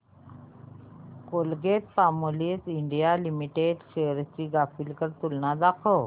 Colgate Palmolive India limited shares ची graphical तुलना दाखव